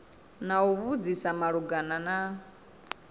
na u vhudzisa malugana na